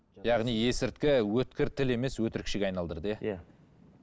яғни есірткі өткір тіл емес өтірікшіге айналдырды иә иә